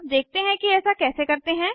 अब देखते हैं कि ऐसा कैसे करते हैं